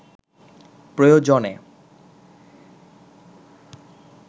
প্রয়োজনে